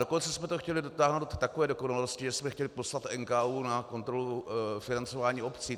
Dokonce jsme to chtěli dotáhnout do takové dokonalosti, že jsme chtěli poslat NKÚ na kontrolu financování obcí.